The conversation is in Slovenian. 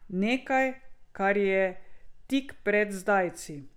Nekaj, kar je tik pred zdajci.